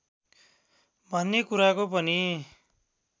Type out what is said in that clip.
भन्ने कुराको पनि